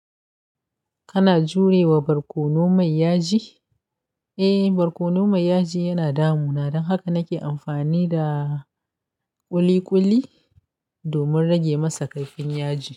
Kana jurewa barkono mai yaji? Eh, barkono mai yaji yana damuna, don haka nake amfani da ƙuli-ƙuli domin rage masa kaifin yaji.